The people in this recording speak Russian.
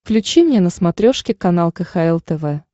включи мне на смотрешке канал кхл тв